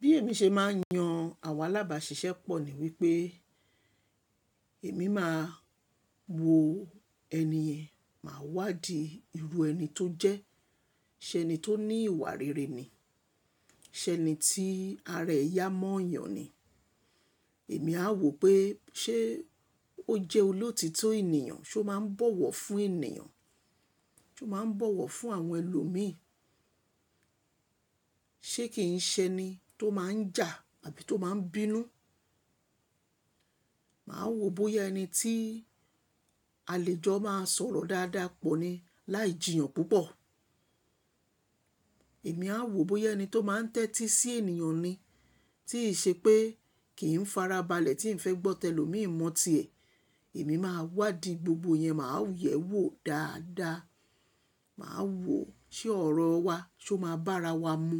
Bí èmi ṣe máa ń yan àwọn alábàáṣiṣẹ́ pọ̀ ní wípé èmi máa wo ẹni yen màá wádìí irú ẹni tó jẹ́, ṣé ẹni tó ní ìwà rere ni, ṣé ẹni tí ara ẹ yà mọ́yàn ni. Èmi a wò pé ṣé ó jẹ́ olótítọ́ ènìyàn, ṣé ó máa ń bọ̀wọ̀ fún ènìyàn, ṣé ó máa ń bọ̀wọ̀ fún àwọn ẹlòmíí, ṣé kì í ṣe ẹni tó máa ń jà àbí tó máa ń bínú. Màá wò bóyá ẹni tí àlejò máa sọ̀rọ̀ dáadáa pọ̀ ni láì jìyàn púpọ̀. Èmi a wò bóyá ẹni tó máa ń tẹ́tí sí ènìyàn ni, tí í ṣe pé kì í farabalẹ̀ tí n fẹ́ gbọ́ tẹ lòmíì mọ́tí ẹ̀. Èmi máa wádìí gbogbo yẹn, màá yẹ̀wò dáadáa. Màá wò ṣé ọ̀rọ̀ wa ṣé ó máa bára wa mu.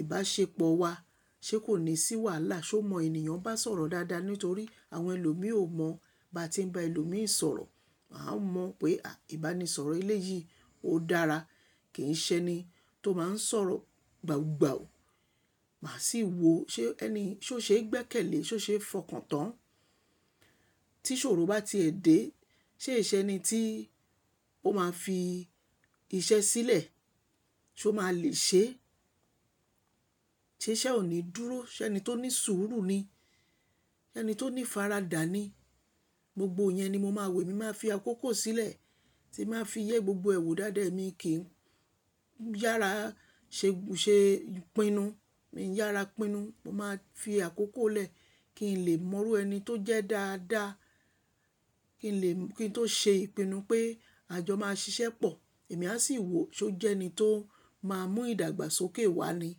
Ìbáṣepọ̀ wa ṣé kò ní sì wà lá, ṣé ó mọ ènìyàn bá sọ̀rọ̀ dáadáa nítorí àwọn ẹlòmíì ó mọ̀ bá tí ń bá ẹlòmíì sọ̀rọ̀. Mà a mọ̀ pé ìbánisọ̀rọ̀ eleyìí ó dára, kì í ṣe ẹni tó máa ń sọ̀rọ̀ gbawugbàwu. Mà á sì wò ṣé ẹni yii ṣé ó ṣeé gbẹ́kẹ̀lé, ṣé ó ṣeé fọkàn tán. Tí ṣòro bá ti è dé, ṣé ìṣẹ́ ẹni tí ó máa fi iṣẹ́ sílẹ̀ ṣé ó máa le ṣe ẹ́, ṣé iṣẹ́ ọ̀ní dúró, ṣé ẹni tó ní sùúrù ni, ṣé ẹni tó ní faradà ni. Gbogbo yẹn ni mo máa wò, èmi máa fi àkókò sílẹ̀ tí màá fi yẹ gbogbo ẹ̀wù dáadáa ẹ́ mi kí n yára ṣe, ṣe ìpinnu, mi yára pinnu. Mo máa fi àkókò lẹ̀ kí n lè mọrú ẹni tó jẹ́ dáadáa, kí n lè, kí n tó ṣe ìpinnu pé àjọ máa ṣiṣẹ́ pọ̀. Èmi a sì wò ṣé ó jẹ́ ẹni tó máa mú ìdàgbàsókè wá ni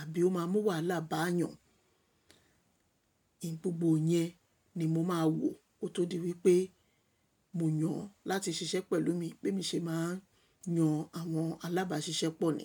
àbí ó máa mú wàhálà bá yàn. Gbogbo yẹn ni mo máa wò kó tó di wípé mò yàn láti ṣiṣẹ́ pẹ̀lú mi, pé mi ṣe máa ń yan àwọn alábáṣiṣẹ́ pọ̀ ni.